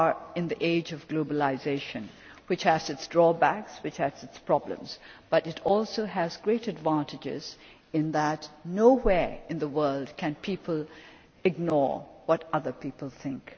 We are in the age of globalisation, which has its drawbacks and problems, but it also has great advantages in that nowhere in the world can people ignore what other people think.